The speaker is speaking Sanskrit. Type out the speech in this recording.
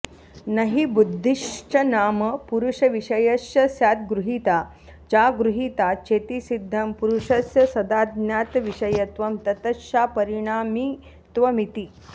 न हि बुद्धिश्च नाम पुरुषविषयश्च स्याद्गृहीता चागृहीता चेति सिद्धं पुरुषस्य सदाज्ञातविषयत्वं ततश्चापरिणामित्वमिति